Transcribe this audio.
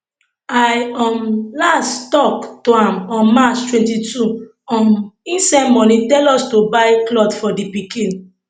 i um last tok to am on march 22 um e send money tell us to buy cloth for di pikin